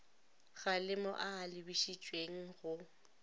kgalemo a a lebišitšweng go